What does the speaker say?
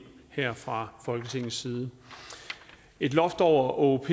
her fra folketingets side et loft over åop